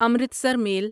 Amritsar میل